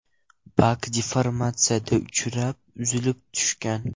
Bak deformatsiyaga uchrab, uzilib tushgan.